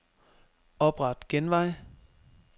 Opret genvej.